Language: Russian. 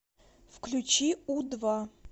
включи у два